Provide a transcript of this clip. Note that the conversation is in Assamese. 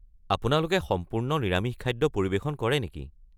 আপোনালোকে সম্পূৰ্ণ নিৰামিষ খাদ্য পৰিৱেশন কৰে নেকি?